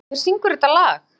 Ónar, hver syngur þetta lag?